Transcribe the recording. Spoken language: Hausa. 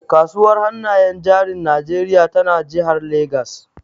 Kasuwar hannayen jarin Najeriya tana jihar Legas.